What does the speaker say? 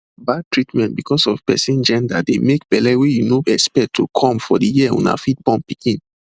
bad treatment because of person genderdey make belle wey you no expect to come for de year una fit born pikin